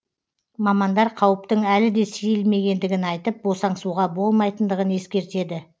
мамандар қауіптің әлі де сейілмегендігін айтып босаңсуға болмайтындығын ескертеді